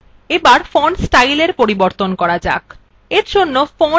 এবার font স্টাইলএর পরিবর্তন করা যাক